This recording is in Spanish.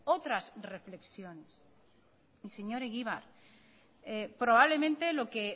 otras reflexiones y señor egibar probablemente lo que